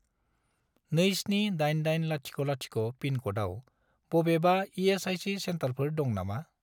278800 पिनक'डआव बबेबा इ.एस.आइ.सि. सेन्टारफोर दं नामा?